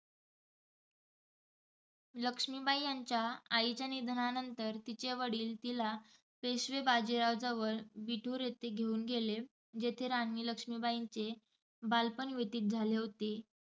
लक्ष्मीबाई यांच्या आईच्या निधनानंतर तिचे वडील तिला पेशवे बाजीराव जवळ विठूर येथे घेऊन गेले. जिथे राणी लक्ष्मीबाईंचे बालपण व्यतीत झाले होते.